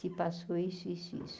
Se passou isso, isso, e isso.